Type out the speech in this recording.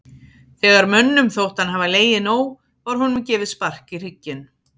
Þegar mönnum þótti hann hafa legið nóg var honum gefið spark í hrygginn.